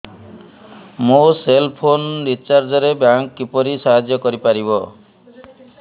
ମୋ cell phone recharge ରେ bank କିପରି ସାହାଯ୍ୟ କରିପାରିବ